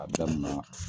A daminɛ